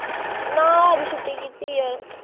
ਨਾ ਅੱਜ ਛੁੱਟੀ ਕੀਤੀ ਐ।